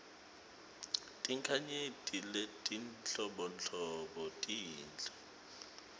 tinkhanyeti letinhlobonhlobo tinhle